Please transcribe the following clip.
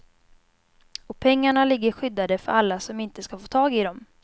Och pengarna ligger skyddade för alla som inte ska få tag i dem.